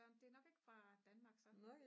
det er nok ikke fra danmark så